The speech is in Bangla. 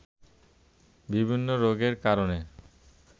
বিভিন্ন রোগের কারণে